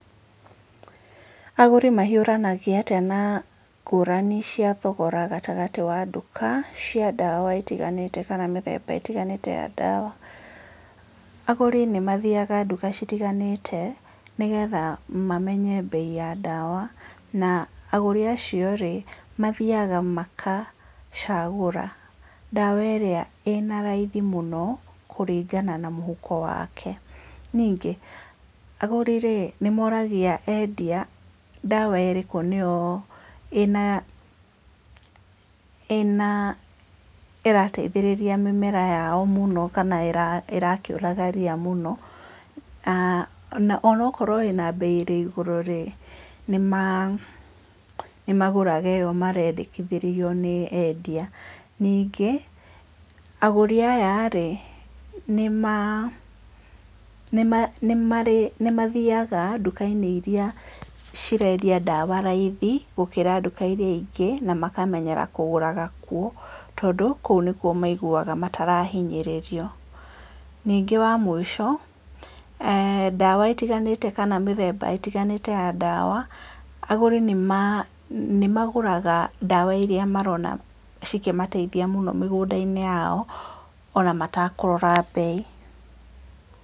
Agũri mahiũranagia atĩa na ngũrani cia thogora gatagatĩ ka nduka cia ndawa itiganĩte kana mĩthemba ĩtiganĩte ya ndawa? Agũri nĩ mathiaga duka ĩtiganĩte nĩgetha mamenye mbei ya dawa na agũri acio rĩ mathiaga magacagũra dawa ĩrĩa ĩna raithi mũno kũringana na mũhuko wake, ningĩ agũri nĩ moragia endia dawa ĩrĩkũ ĩna, ĩna, ĩrateithĩria mĩmera yao mũno kana ĩrakĩũraga ria mũno, na onakorwo ĩna mbei ĩigũrũ rĩ nĩmagũraga ĩyo marendekithĩrio nĩ mwendia, ningĩ agũri aya rĩ nĩ marĩ, nĩ mathiaga duka-inĩ iria cirendia dawa raithi gũkĩra duka-inĩ iria ingĩ na makamenyera kũgũra kuo tondũ kũu nĩkuo maiguaga marahinyĩrĩrio, ningĩ wa mũico dawa ĩtiganĩte kana mĩthemba itiganĩte ya dawa agũri nĩmagũraga dawa iria marona cikĩmateithia mũno mĩgũnda-inĩ yao ona matakũrora mbei.